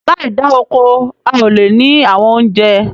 Láì da oko, a ó lè ní àwọn oúnjẹ